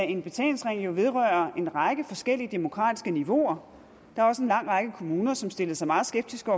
en betalingsring jo vedrører en række forskellige demokratiske niveauer der var også en lang række kommuner som stillede sig meget skeptiske